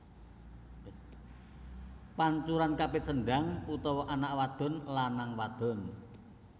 Pancuran Kapit Sendang utawa anak wadon lanang wadon